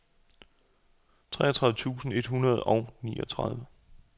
treogtredive tusind et hundrede og niogtredive